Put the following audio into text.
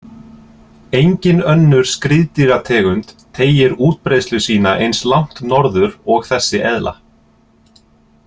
Engin önnur skriðdýrategund teygir útbreiðslu sína eins langt norður og þessi eðla.